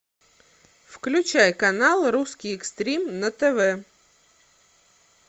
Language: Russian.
включай канал русский экстрим на тв